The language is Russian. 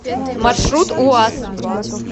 маршрут уаз